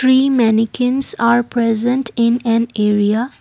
three mannequins are present in an area.